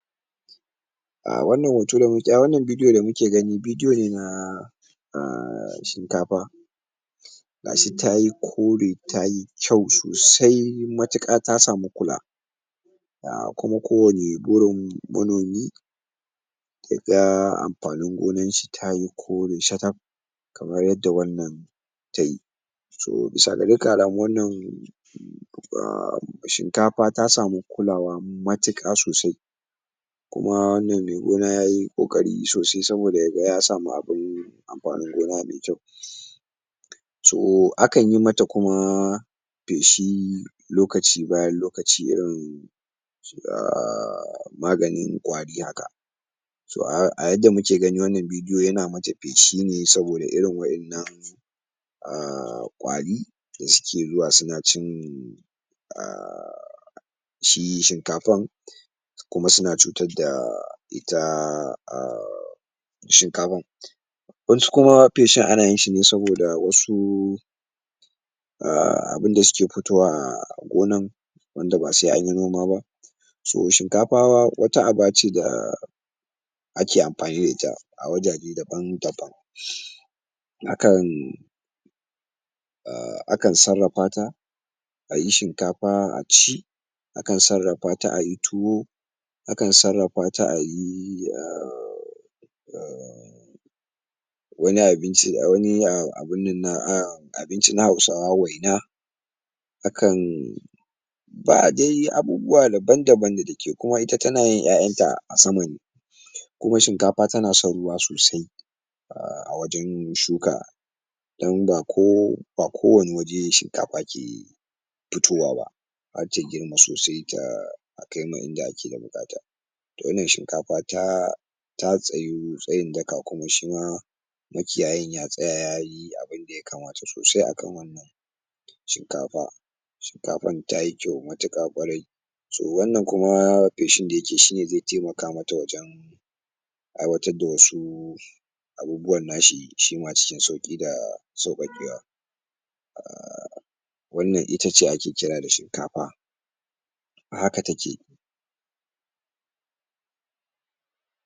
Ah wannan hoto da, ah wannan bidiyo da muke gani bidiyo ne na ah shinkafa gashi tayi kore tayi kyau sosai matuƙa ta samu kula ah kuma kowanni burin manomi yaga amfanin gonan shi tayi kore shakaf kamar yadda wannan tayi to bisa ga dukkan alamu wannan shinkafa ta samu kulawa matuƙa sosai kuma wannan me gona yayi ƙoƙari sosai saboda yaga ya samu abin amfanin gona me kyau to akan yi mata kuma feshi lokaci bayan lokaci irin da maganin kwari haka to a yanda muke gani wannan bidiyo yana mata feshi ne saboda irin waƴannan ah ƙwari da suke zuwa suna cin ah shi shinkafan kuma suna cutar da ita ah, shinkafan waƴan su kuma feshin ana yin shi ne saboda wasu ah abinda suke fitowa ah a gonan wanda ba sai anyi noma ba so shinkafa wata aba ce da ake amfani da ita a wajaje daban-daban akan ah akan sarrafa ta ayi shinkafa a ci akan sarrafa ta ayi tuwo akan sarrafa ta a yi ah wani abinci ah wani abinci na hausawa waina akan ba'a dai yi abubuwa daban-daban da ita, kuma ita tana yin ƴaƴan ta a sama kuma shinkafa tana son ruwa sosai ah a wajen shuka dan ba ko ba kowani wuri shinkafa ke fitowa ba har ta girma sosai ta kai ma inda ake da buƙata to wannan shinkafa ta ta tsayu tsayin daka kuma shi ma makiyayin ya tsaya yayi abinda yakamata sosai akan wannan shinkafa shinkafan tayi kyau matuƙa ƙwarai so wannan kuma feshin da yake shi ne zai taimaka mata wajen aiwatar da wasu abubuwan na shi shi ma cikin sauƙi da sauƙaƙewa wannan ita ce ake kira da shinkafa a haka take.